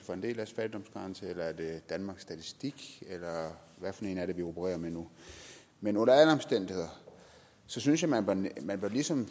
var en del af fattigdomsgrænse eller er det danmarks statistiks eller hvad for en er det vi opererer med nu men under alle omstændigheder synes jeg man ligesom